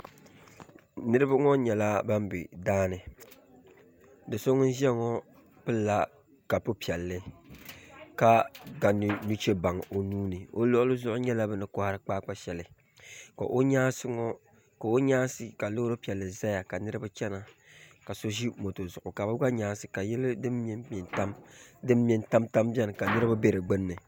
Niraba ŋo nyɛla ban bɛ daani do so ŋun ʒiya ŋo pilla kapu piɛlli ka ga nuchɛ baŋ o nuuni o luɣuli zuɣu nyɛla bini kohari kpaakpa shɛli ka o nyaansi ka Loori piɛlli ʒɛya ka niraba chɛna ka so ʒi moto zuɣu ka bi gba nyaansi zuɣu ka yiya din mɛnmɛ n tam ka niraba bɛ di gbunni